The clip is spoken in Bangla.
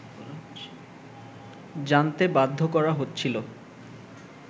জানতে বাধ্য করা হচ্ছিল